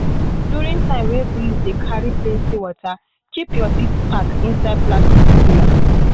during time wey breeze dey carry plenty water keep your seed pack inside plastic cooler.